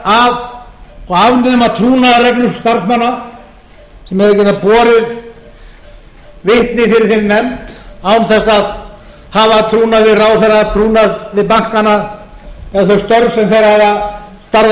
og afnema trúnaðarreglur starfsmanna sem eiga að geta borið vitni fyrir þeirri nefnd án þess að hafa af trúnaði við ráðherra trúnaði við bankana og þau störf sem þeir hafa starfað í til